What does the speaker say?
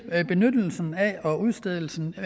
benyttelse og udstedelse og